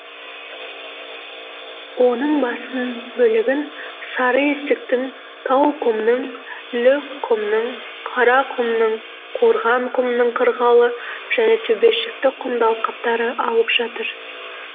оның басым бөлігін сарыесіктің тауқұмның лөкқұмның қарақұмның қорғанқұмның қырқалы және төбешікті құмды алқаптары алып жатыр